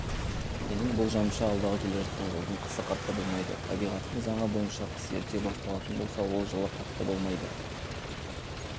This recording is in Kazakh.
менің болжамымша алдағы келе жатқан жылдың қысы қатты болмайды табиғаттың заңы бойынша қыс ерте басталатын болса ол жылы қатты болмайды